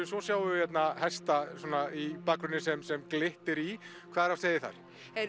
svo sjáum við hesta í bakgrunni sem sem glittir í hvað er á seyði þar